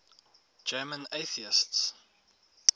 german atheists